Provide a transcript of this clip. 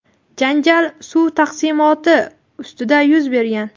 janjal suv taqsimoti ustida yuz bergan.